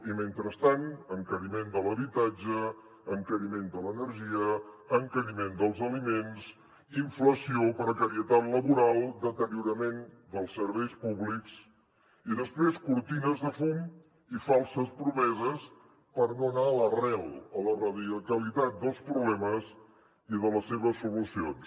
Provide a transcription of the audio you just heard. i mentrestant encariment de l’habitatge encariment de l’energia encariment dels aliments inflació precarietat laboral deteriorament dels serveis públics i després cortines de fum i falses promeses per no anar a l’arrel a la radicalitat dels problemes i de les seves solucions